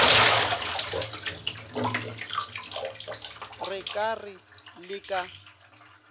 re ka re le ka